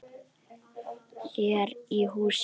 Hér í hús.